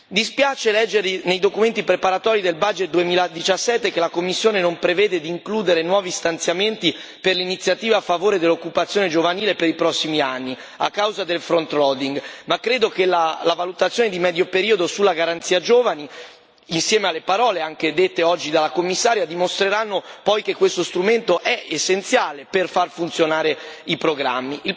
Dispiace leggere nei documenti preparatori del bilancio 2017 che la Commissione non preveda di includere nuovi stanziamenti per l'Iniziativa a favore dell'occupazione giovanile per i prossimi anni a causa del front loading ma credo che la valutazione di medio periodo sulla Garanzia giovani, insieme alle parole anche dette oggi dalla Commissaria, dimostreranno che questo strumento è essenziale per far funzionare i programmi.